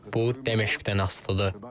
Bu Dəməşqdən asılıdır.